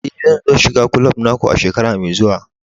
Eh, zan so shiga kulob na ku a shekara mai zuwa.